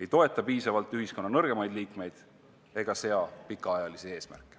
ei toeta piisavalt ühiskonna nõrgemaid liikmeid ega sea pikaajalisi eesmärke.